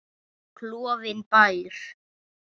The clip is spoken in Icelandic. Klofinn bær.